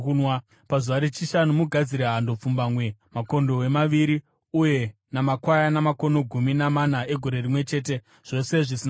“ ‘Pazuva rechishanu, mugadzire hando pfumbamwe, makondobwe maviri uye namakwayana makono gumi namana egore rimwe chete, zvose zvisina kuremara.